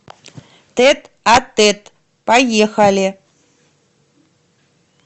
тет а тет поехали